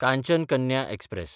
Kanchan Kanya express